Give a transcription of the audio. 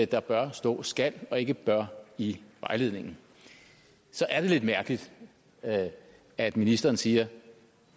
der bør stå skal og ikke bør i vejledningen så er det lidt mærkeligt at at ministeren siger at